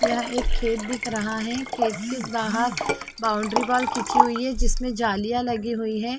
यहाँ एक खेत दिख रहा है खेत के बाहर एक बाउंड्री बॉल खींची हुई है जिसमे जालिया लगी हुई है।